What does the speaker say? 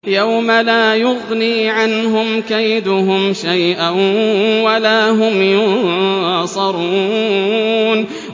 يَوْمَ لَا يُغْنِي عَنْهُمْ كَيْدُهُمْ شَيْئًا وَلَا هُمْ يُنصَرُونَ